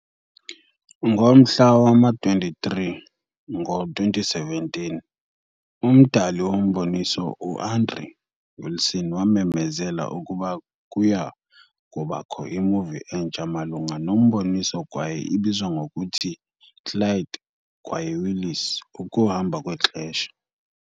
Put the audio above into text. Ngomhla wama-23, ngo-2017, umdali womboniso, u-Andrew Wilson wamemezela ukuba kuya kubakho i-movie entsha malunga nomboniso kwaye ibizwa ngokuthi- "Clyde kwaye Willis- Ukuhamba Kwexesha"